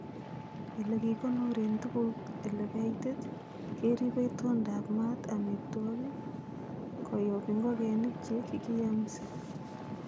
Ele kikonoren tuguk ele kaitit, keribe itondaab maat amitwogik koyob ingogenik che kikiyamsii.